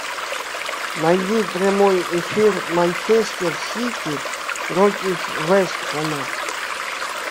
найди прямой эфир манчестер сити против вест хэма